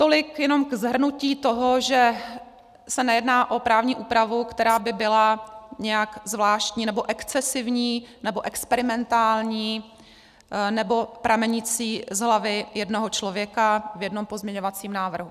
Tolik jenom k shrnutí toho, že se nejedná o právní úpravu, která by byla nějak zvláštní nebo excesivní nebo experimentální nebo pramenící z hlavy jednoho člověka v jednom pozměňovacím návrhu.